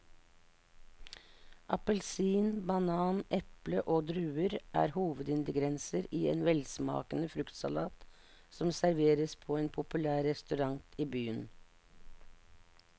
Appelsin, banan, eple og druer er hovedingredienser i en velsmakende fruktsalat som serveres på en populær restaurant i byen.